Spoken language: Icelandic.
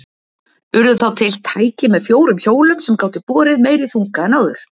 Urðu þá til tæki með fjórum hjólum sem gátu borið meiri þunga en áður.